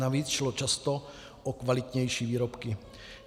Navíc šlo často o kvalitnější výrobky.